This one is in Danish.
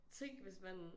Tænk hvis man